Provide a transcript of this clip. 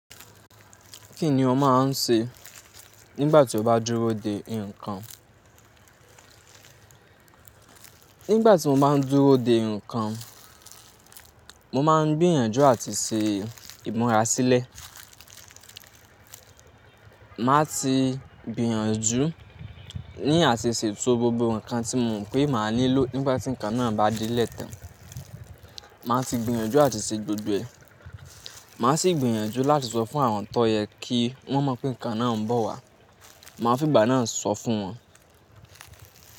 Kí ni o máa ń ṣe nígbà tí o bá dúró de ǹkan? Nígbà tí mo bá ń dúró de ǹkan, mo máa ń gbìyànjú àti ṣe ìmúra sílẹ̀. Màá ti gbìyànjú ní áti ṣètò gbogbo nǹkan tí mo mọ̀ pé màá nílò nígbà tí nǹkan náà bá di lẹ́ tan. Màá ti gbìyànjú àti ṣe gbogbo ẹ̀. Màá sì gbìyànjú láti sọ fún àwọn tọ́ yẹn kí wọ́n mọ̀ pé ǹkan náà ń bọ̀ wá. Màá fí ìgbà náà sọ fún wọn.